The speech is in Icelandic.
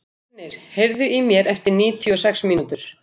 Fjölnir, heyrðu í mér eftir níutíu og sex mínútur.